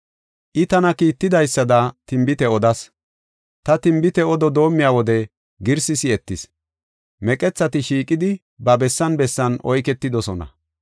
I tana kiittidaysada tinbite odas; ta tinbite odo doomiya wode girsi si7etis; meqethati shiiqidi, ba bessan bessan oyketidosona.